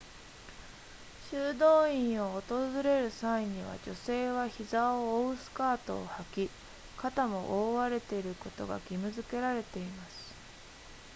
修道院を訪れる際には女性は膝を覆うスカートを履き肩も覆われていることが義務付けられています